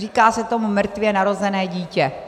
Říká se tomu mrtvě narozené dítě.